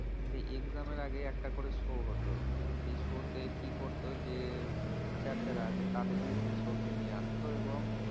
তো exam এর আগে একটা করে show হতো। সেই show তে কি করতো? যে teacher যারা আছে তাদেরকে সেই show তে নিয়ে আসতো এবং